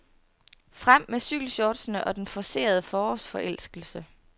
Frem med cykelshortsene og den forcerede forårsforelskelse.